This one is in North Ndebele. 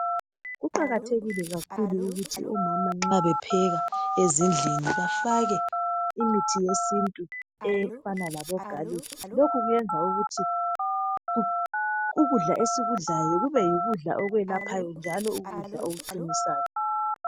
Kuqakathekile kakhulu ukuthi omama nxa bepheka ezindlini bafake imithi yesintu efana labo "garlic".Lokhu kuyenza ukuthi ukudla esikudlayo kube yikudla okwelaphayo njalo kube yikudla okuqinisayo.